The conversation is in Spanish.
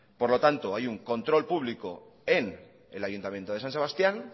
por lo tanto hay un control público en el ayuntamiento de san sebastián